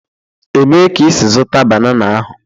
Ebee ka ị si zụta banana ahụ?